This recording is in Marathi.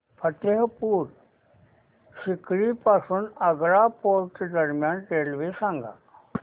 फतेहपुर सीकरी पासून आग्रा फोर्ट दरम्यान रेल्वे सांगा